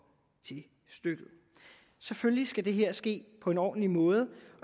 til stykket selvfølgelig skal det her ske på en ordentlig måde